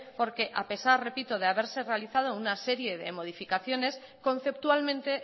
porque a pesar repito de haberse realizado una serie de modificaciones conceptualmente